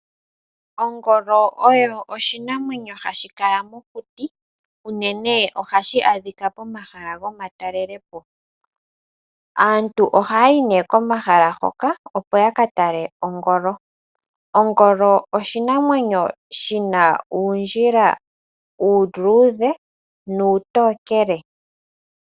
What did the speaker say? Ogoolo oyo oshinamwenyo hashikala mokuti unene ohashi adhika pomahala gomatalelepo, aantu ohayi ne komahala hoka opo yakatale ogoolo, ogoolo oshinamwenyo shina undjila uludhe nutokele.